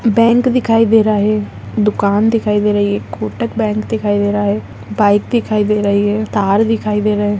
यह बैंक दिखई दे रहा है दुकान दिखाई दे रहा है यहाँ कूटक बैंक दिखाई दे रहा है|